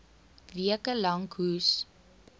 weke lank hoes